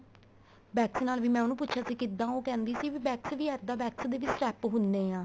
wax ਨਾਲ ਵੀ ਮੈਂ ਉਹਨੂੰ ਪੁਛਿਆ ਸੀ ਕਿੱਦਾਂ ਉਹ ਕਹਿੰਦੀ ਸੀ ਵੀ wax ਵੀ ਇੱਦਾ wax ਦੇ step ਹੁਣੇ ਆ